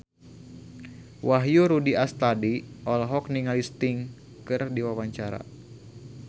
Wahyu Rudi Astadi olohok ningali Sting keur diwawancara